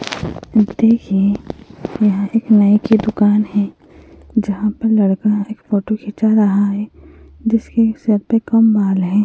देखिए यहाँ एक नाइ की दुकान है जहां पर लड़का एक फोटो खीचां रहा है जिसकी सर पर कम बाल हैं।